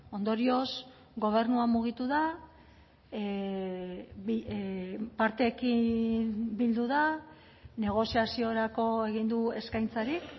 ondorioz gobernua mugitu da parteekin bildu da negoziaziorako egin du eskaintzarik